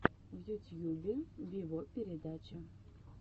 в ютьюбе виво передача